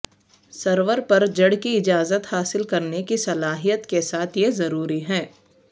سرور پر جڑ کی اجازت حاصل کرنے کی صلاحیت کے ساتھ یہ ضروری ہے